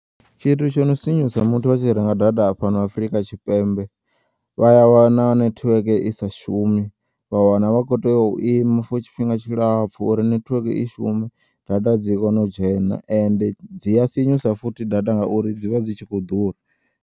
Tshithu tshino sinyusa musi vha tshi renga data fhano Afrika tshipembe vha ya wana nethiweke isa shumi vha wana vha kho teya u ima for tshifhinga tshilapfu uri nethiweke i shume data dzi kone u dzhena ende dzi ya sinyusa futhi data ngauri dzivha dzi tshi kho u ḓura.